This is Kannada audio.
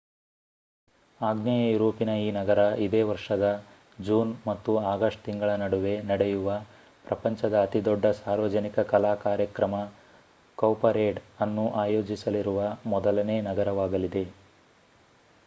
ಆಗ್ನೇಯ ಯೂರೋಪಿನ ಈ ನಗರ ಇದೇ ವರ್ಷದ ಜೂನ್ ಮತ್ತು ಆಗಸ್ಟ್ ತಿಂಗಳ ನಡುವೆ ನಡೆಯುವ ಪ್ರಪಂಚದ ಅತಿ ದೊಡ್ಡ ಸಾರ್ವಜನಿಕ ಕಲಾ ಕಾರ್ಯಕ್ರಮ ಕೌಪರೇಡ್ ಅನ್ನು ಅಯೋಜಿಸಲಿರುವ ಮೊದಲನೇ ನಗರವಾಗಲಿದೆ